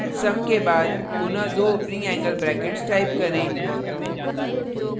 sum के बाद पुनः दो opening angle brackets type करें